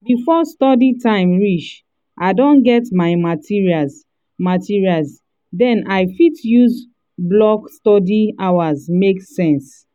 before study time reach i don get my materials materials den i fit use blocked study hours make sense